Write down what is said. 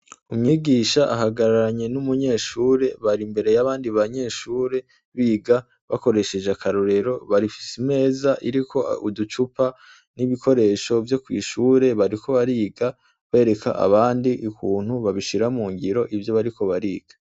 Umwigisha ahagararanye n'umunyeshure bari imbere yabandi banyeshure biga bakoresheje akarorero bafise imeza iriko uducupa n'ibikoresho vyo kw'ishure bariko bariga bereka abandi ukuntu babishira mungiro ivyo bariko bariga.